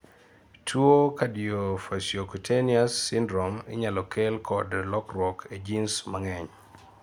tuwo Cardiofaciocutaneous syndrome inyalo kel kod lokruok e genes mang'eny